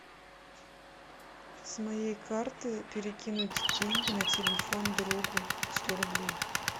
с моей карты перекинуть деньги на телефон другу сто рублей